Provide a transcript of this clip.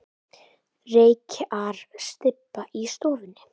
Reykjarstybba í stofunni.